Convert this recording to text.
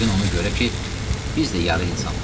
Yəqin ona görə ki, biz də yarı insanıq.